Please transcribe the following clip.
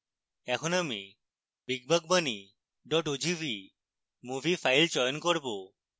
এখন আমি big buck bunny ogv movie file চয়ন করবো